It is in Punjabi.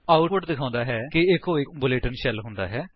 ਆਉਟਪੁਟ ਦਿਖਾਉਂਦਾ ਹੈ ਕਿ ਈਚੋ ਇੱਕ ਬੁਲੇਟਿਨ ਸ਼ੈਲ ਹੁੰਦਾ ਹੈ